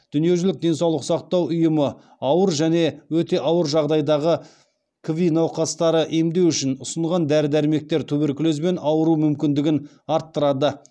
дүниежүзілік денсаулық сақтау ұйымы ауыр және өте ауыр жағдайдағы кви науқастары емдеу үшін ұсынған дәрі дәрмектер туберкулезбен ауыру мүмкіндігін арттырады